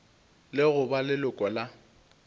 le go ba leloko la